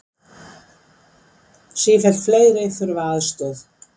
Sífellt fleiri þurfa aðstoð